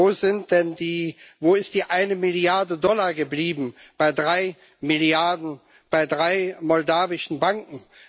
Wo ist denn die eine Milliarde Dollar geblieben, bei drei Milliarden, bei drei moldauischen Banken?